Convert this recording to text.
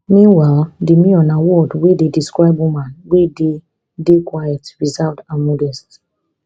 meanwhile demure na word wey dey describe woman wey dey dey quiet reserved and modest